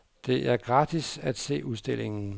Det er gratis at se udstillingen.